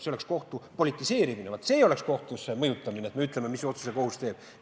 See oleks kohtu politiseerimine – vaat see oleks kohtu mõjutamine, kui me ütleme, mis otsuse kohus tõenäoliselt teeb.